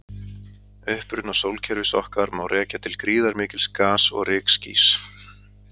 uppruna sólkerfis okkar má rekja til gríðarmikils gas og rykskýs